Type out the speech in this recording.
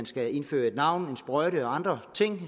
skal indføre et navn en sprøjte og andre ting